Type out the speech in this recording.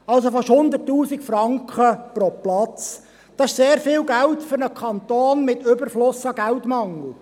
Also, fast 100 000 Franken pro Platz – das ist sehr viel Geld für einen Kanton mit Überfluss an Geldmangel.